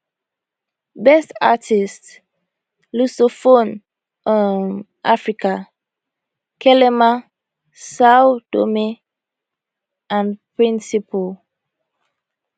best artist lusophone um africa calema sao tome and principe